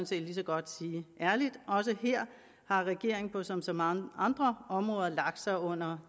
set lige så godt sige ærligt også her har regeringen som på så mange andre områder lagt sig under